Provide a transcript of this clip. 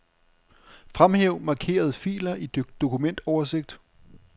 Fremhæv markerede filer i dokumentoversigt.